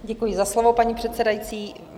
Děkuji za slovo, paní předsedající.